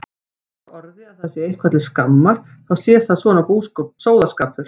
Hefur á orði að sé eitthvað til skammar þá sé það svona sóðaskapur.